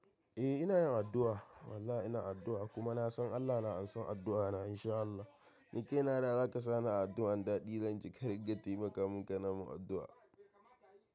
Eh ina yin addu'a. Wallahi ina addu'a kuma na san Allah na amsa addu'a na in sha Allah. Ni kaina da zaka sani a addu'an daɗi zanji ka dinga taimaka mun ka na mun addu'a.